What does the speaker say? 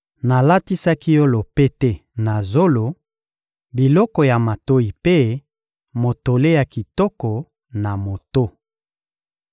Nalatisaki yo lopete na zolo, biloko ya matoyi mpe motole ya kitoko na moto.